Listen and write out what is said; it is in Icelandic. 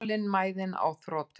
Þolinmæðin á þrotum.